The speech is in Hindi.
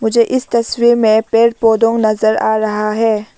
मुझे इस तस्वीर में पेड़ पौधों नजर आ रहा है।